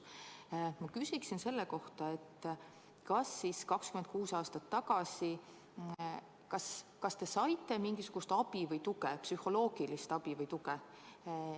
Ma küsin, kas te 26 aastat tagasi saite mingisugust abi või tuge, just psühholoogilist abi või tuge.